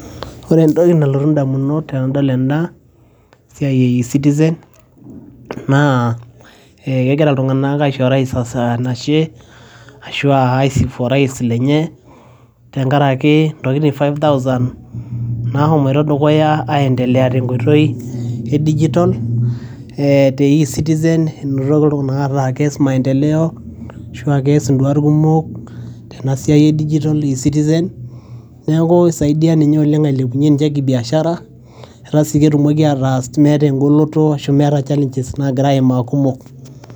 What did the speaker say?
Kore entoki nalotu ndamunot tenadol ena siai e eCitizen, naa kegira iltung'anak aisho orais enashe ashu aa aisifu orais lenye tenkaraki ntokitin five thousand nashomoita dukuya aiendelea tenkoitoi e dijital te eCitizen inoto iltung'anak ataa kees maendeleo ashu a kees induat kumok tena siai e dijital eCitizen. Neeku isaidia nje oleng' eeku ilepunye kibiashara, etaa sii ketumoki ataas meeta eng'oloto ashu meeta challenges nagira aimaa kumok.